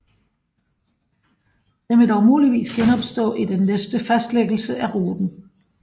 Den vil dog muligvis genopstå i den næste fastlæggelse af ruten